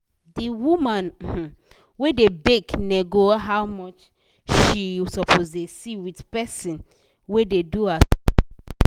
d woman um wey da bake nego how much she suppose da see with person wey da do her supply